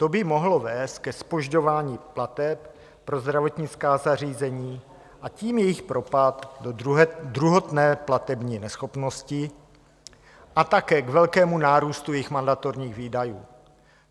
To by mohlo vést ke zpožďování plateb pro zdravotnická zařízení, a tím jejich propadu do druhotné platební neschopnosti a také k velkému nárůstu jejich mandatorních výdajů.